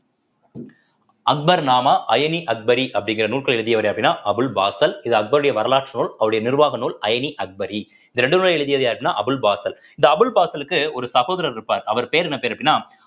அக்பர் நாமா அயனி அக்பரி அப்படிங்கிற நூல்கள் எழுதியவர் அப்படின்னா அபுல் பாசல் இது அக்பருடைய வரலாற்று நூல் அவருடைய நிர்வாக நூல் அயனிஅக்பரி இது ரெண்டுமே எழுதியது யாருன்னா அபுல் பாசல் இந்த அபுல் பாசல்க்கு ஒரு சகோதரர் இருப்பார் அவர் பேர் என்ன பேரு அப்படின்னா